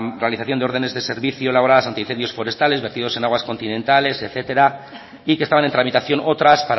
realización de órdenes de servicio elaboradas anti incendios forestales vertidos en aguas continentales etcétera y que estaban en tramitación otras